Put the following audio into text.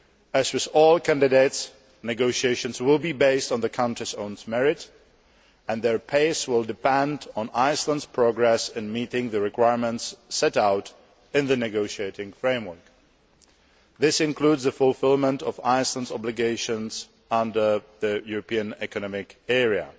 As with all candidates, negotiations will be based on the country's own merits and their pace will depend on Iceland's progress in meeting the requirements set out in the negotiating framework. This includes the fulfilment of Iceland's obligations under the European Economic Area.